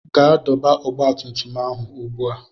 Gaa dọba ọgba tum tum ahụ ugbu a!